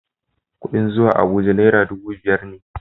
Kuɗin zuwa Abuja naira dubu biyar ne.